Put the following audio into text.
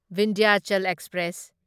Vindhyachal express